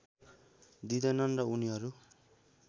दिँदैनन् र उनीहरू